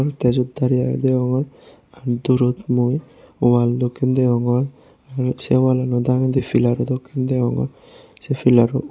aide sod dare aage deyongor r durot mui wall dokkey deyongor r sey wall lano dagedi pillar ro dokken deyongor sey pilar bo